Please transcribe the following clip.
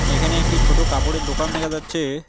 এখানে একটি ছোট কাপড়ের দোকান দেখা যাচ্ছে।